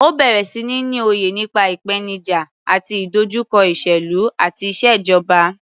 Ó bẹ̀rẹ̀ sí ní ní òye nípa ìpènijà àti ìdojúkọ ìṣèlú àti ìṣèjọba.